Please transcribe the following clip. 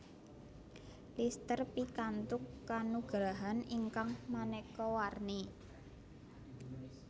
Lister pikantuk kanugrahan ingkang maneka warni